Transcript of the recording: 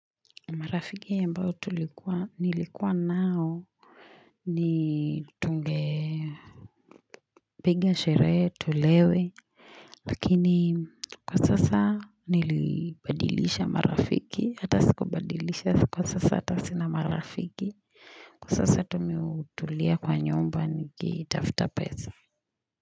Marafiki ambao tulikuwa, nilikuwa nao ni tungepiga sherehe tulewe Lakini kwa sasa nilibadilisha marafiki hata siku badilisha kwa sasa hata sina marafiki. Kwa sasa tu mi hutulia kwa nyumba nikitafuta pesa.